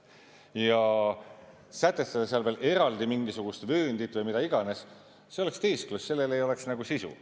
Ja sätestada seal veel eraldi mingisugust vööndit või mida iganes – see oleks teesklus, sellel ei oleks sisu.